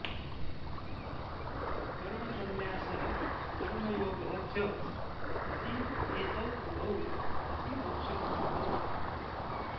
कर्मसन्न्यासः कर्मयोगः च इति एतौ उभौ अपि मोक्षकारकौ